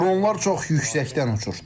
Dronlar çox yüksəkdən uçur.